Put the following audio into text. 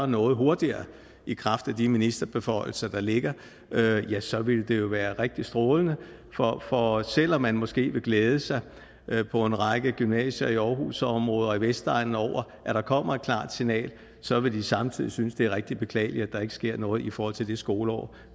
noget hurtigere i kraft af de ministerbeføjelser der ligger ja så ville det jo være rigtig strålende for selv om man måske vil glæde sig på en række gymnasier i aarhusområdet og på vestegnen over at der kommer et klart signal så vil man samtidig synes det er rigtig beklageligt at der ikke sker noget i forhold til det skoleår